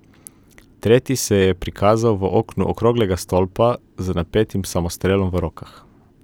Tretji se je prikazal v oknu okroglega stolpa z napetim samostrelom v rokah.